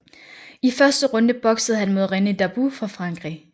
I første runde boksede han mod René Darbou fra Frankrig